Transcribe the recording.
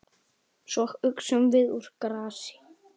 Svo uxum við úr grasi.